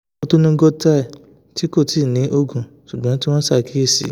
o tun ni goitre ti ko ti ni oogun ṣugbọn ti wọn n ṣakiyesi